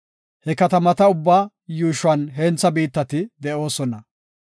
He katamata ubbaa yuushuwan hentha biittati de7oosona.